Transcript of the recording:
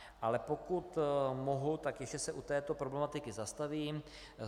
Ale pokud mohu, tak ještě se u této problematiky zastavím.